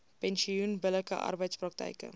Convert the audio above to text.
pensioen billike arbeidspraktyke